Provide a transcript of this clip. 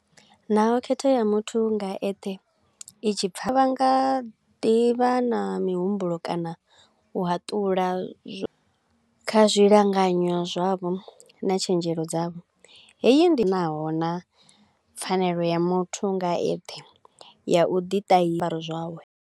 Naho khetho ya muthu nga eṱhe i tshi pfa, vha nga ḓivha na mihumbulo kana u hatula zwo kha zwi langanyo dzavho na tshenzhelo dzavho, heyi ndi naho na pfanelo ya muthu nga eṱhe ya u ḓi ṱahi zwiambaro zwawe.